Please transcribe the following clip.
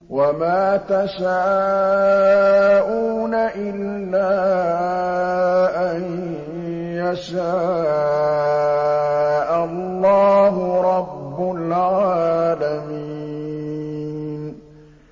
وَمَا تَشَاءُونَ إِلَّا أَن يَشَاءَ اللَّهُ رَبُّ الْعَالَمِينَ